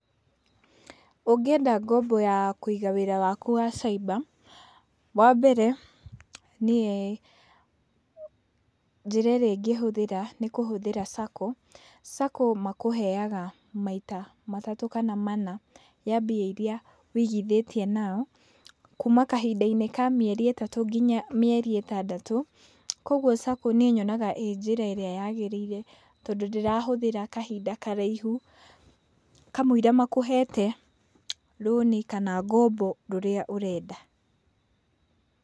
Ũngĩenda ngombo ya kũiga wĩra waku wa caimba, wambere niĩ njĩra ĩrĩa ingĩhũthĩra nĩ kũhũthĩra sacco. Sacco makũheaga maita matatũ kana mana ya mbia irĩa wĩigithĩtie nao, kuma kahinda-inĩ ka mĩeri ĩtatũ nginya mĩeri ĩtandatũ, koguo saco niĩ nyonaga ĩ njĩra ĩrĩa yagĩrĩire, tondũ ndĩrahũthĩra kahinda karaihũ kamũiria makũhete rũni kana ngombo rũrĩa ũrenda.